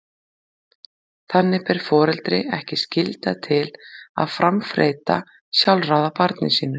Þannig ber foreldri ekki skylda til að framfleyta sjálfráða barni sínu.